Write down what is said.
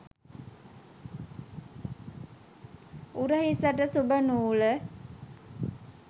උරහිසට ශුභ නූල